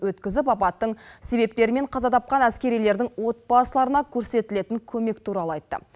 өткізіп апаттың себептері мен қаза тапқан әскерилердің отбасыларына көрсетілетін көмек туралы айтты